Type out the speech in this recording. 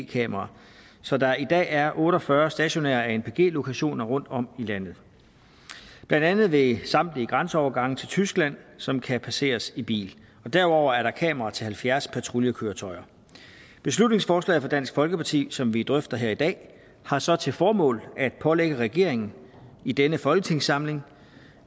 kameraer så der i dag er otte og fyrre stationære anpg lokationer rundtom i landet blandt andet ved samtlige grænseovergange til tyskland som kan passeres i bil derudover er der kameraer til halvfjerds patruljekøretøjer beslutningsforslaget fra dansk folkeparti som vi drøfter her i dag har så til formål at pålægge regeringen i denne folketingssamling